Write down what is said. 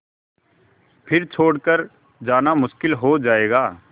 फिर छोड़ कर जाना मुश्किल हो जाएगा